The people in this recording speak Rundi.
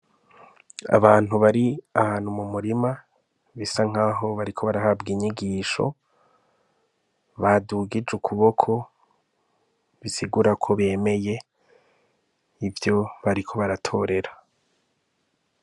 Abantu bari ahantu mu murima bisa nkaho bariko barahabwa inyigisho, badugije ukuboko bisigura ko bemeye ivyo bariko baratorera.